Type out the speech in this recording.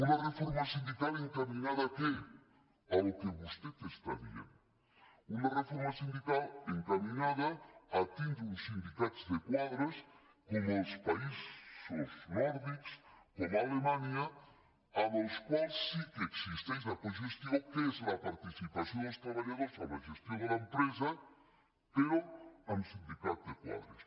una reforma sindical encaminada a què al que vostè està dient una reforma sindical encaminada a tindre uns sindicats de quadres com els països nòrdics com alemanya amb els quals sí que existeix la cogestió que és la participació dels treballadors en la gestió de l’empresa però amb sindicats de quadres